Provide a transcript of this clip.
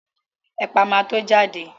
Ẹ̀pà ma tó jáde